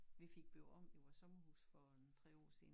Vi fik bygget om i vores sommerhus for en 3 år siden